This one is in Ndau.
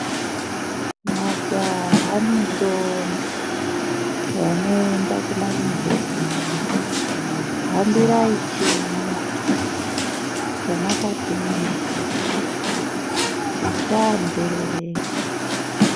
Majaha nendombi vanoenda kuma yunivhesiti hambirai chimwe chamwa katumweyo tisaa nzerereka.